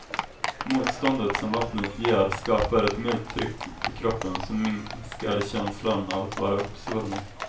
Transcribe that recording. Motståndet som vattnet ger skapar ett milt tryck på kroppen som minskar känslan av att vara uppsvullen.